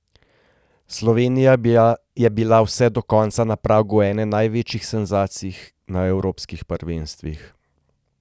Slovenija je bila vse do konca na pragu ene največjih senzacij na evropskih prvenstvih.